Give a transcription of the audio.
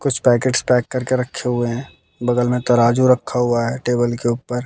कुछ packets pack करके रखे हुए हैं बगल में तराजू रखा हुआ है टेबल के ऊपर--